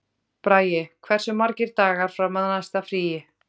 Bragi, hversu margir dagar fram að næsta fríi?